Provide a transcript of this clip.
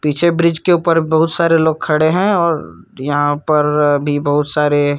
पीछे ब्रिज़ के ऊपर बहुत सारे लोग खड़े है और यहाँ पर भी बहुत सारे --